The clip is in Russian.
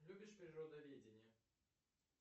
любишь природоведение